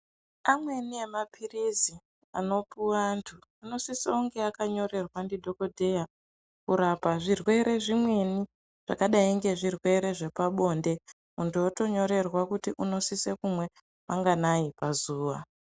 Amweni emapirizi anopuwa antu anosise kunge akanyorerwa ndidhokodheya kurapa zvimwere zvimweni zvakadai ngezvirwere zvepabonde munhu otonyorerwa kuti unosise kumwe manganai pazuwa.